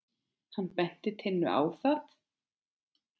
Hann benti Tinnu á það.